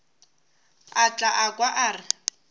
o tla kwa a re